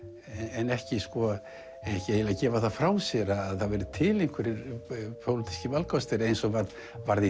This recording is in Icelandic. en ekki gefa það frá sér að það væru til einhverjir pólitískir valkostir eins og var í